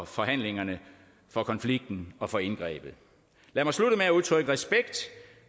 forhandlingerne for konflikten og for indgrebet lad mig slutte med at udtrykke respekt